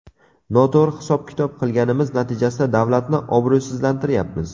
Noto‘g‘ri hisob-kitob qilganimiz natijasida davlatni obro‘sizlantiryapmiz.